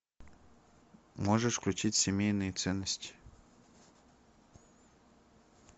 можешь включить семейные ценности